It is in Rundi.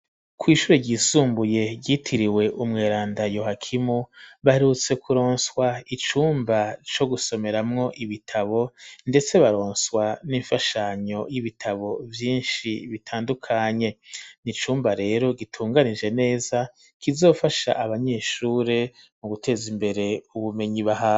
Kw'ishure ryisumbuye ryitiriwe umweranda Yohakimu, baherutse kuronswa icumba co gusomeramwo ibitabo, ndetse baronswa n'imfashanyo y'ibitabo vyinshi bitandukanye, ni icumba rero gitunganije neza, kizofasha abanyeshure mu guteza imbere ubumenyi bahabwa.